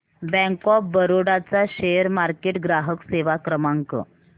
bank of Baroda चा share market ग्राहक सेवा क्रमांक